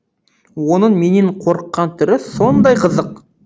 оның менен қорыққан түрі сондай қызық